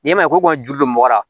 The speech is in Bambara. N'i ma ko juru don mɔgɔ la